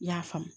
I y'a faamu